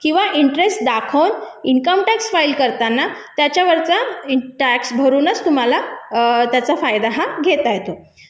income tax file करताना त्याच्यावरचा interest tax भरूनच तुम्हाला त्याचा फायदा हा घेता